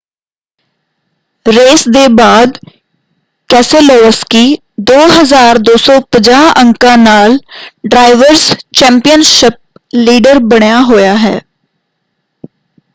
Race ਦੇ ਬਾਅਦ Keselowski 2,250 ਅੰਕਾਂ ਨਾਲ ਡਰਾਇਵਰਸ ਚੈਂਪੀਅਨਸ਼ਿਪ ਲੀਡਰ ਬਣਿਆ ਹੋਇਆ ਹੈ।